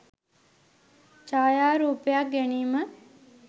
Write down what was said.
ඡායාරූපයක් ගැනීම